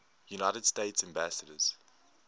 united states ambassadors